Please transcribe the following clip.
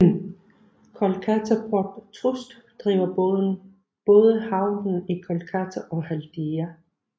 Kolkata Port Trust driver både havnen i Kolkata og Haldia